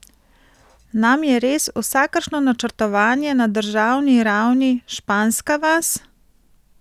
Nam je res vsakršno načrtovanje na državni ravni španska vas?